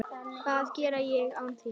Hvað geri ég án þín?